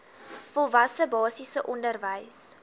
volwasse basiese onderwys